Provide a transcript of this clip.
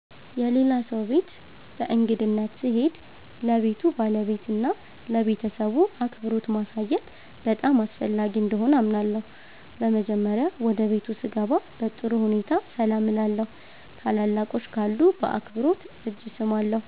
የሌላ ሰው ቤት በእንግድነት ስሄድ ለቤቱ ባለቤትና ለቤተሰቡ አክብሮት ማሳየት በጣም አስፈላጊ እንደሆነ አምናለሁ። በመጀመሪያ ወደ ቤቱ ስገባ በጥሩ ሁኔታ ሰላም እላለሁ። ታላላቆች ካሉ በአክብሮት እጅ እሰማለሁ